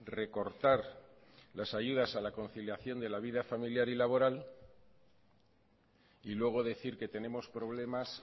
recortar las ayudas a la conciliación de la vida familiar y laboral y luego decir que tenemos problemas